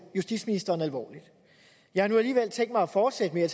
justitsministeren alvorligt jeg har nu alligevel tænkt mig at fortsætte med at